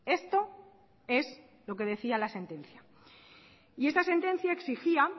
esto es lo que decía la sentencia y esta sentencia exigía